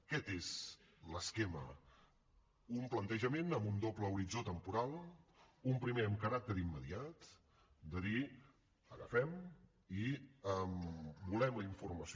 aquest és l’esquema un plantejament amb un doble horitzó temporal un primer amb caràcter immediat de dir agafem i volem la informació